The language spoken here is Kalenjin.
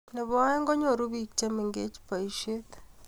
nebo aeng, konyoru biik chemengech boishiet